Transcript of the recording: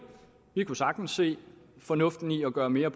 vi kunne sagtens se fornuften i at gøre mere